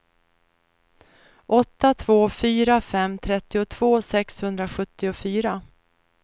åtta två fyra fem trettiotvå sexhundrasjuttiofyra